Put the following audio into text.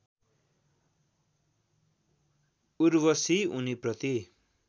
Urvashi उनीप्रति